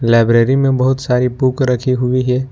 Library में बहुत सारी बुक रखी हुई है।